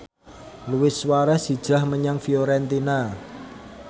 Luis Suarez hijrah menyang Fiorentina